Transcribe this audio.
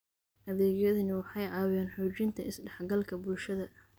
Adeegyadani waxay caawiyaan xoojinta is-dhexgalka bulshada.